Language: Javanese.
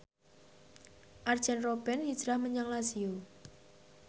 Arjen Robben hijrah menyang Lazio